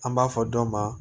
An b'a fɔ dɔ ma